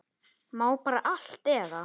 Má bara allt eða?